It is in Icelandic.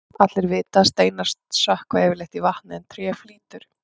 allir vita að steinar sökkva yfirleitt í vatni en tré flýtur